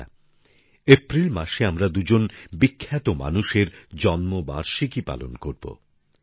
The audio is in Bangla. বন্ধুরা এপ্রিল মাসে আমরা দুজন বিখ্যাত মানুষের জন্মবার্ষিকী পালন করব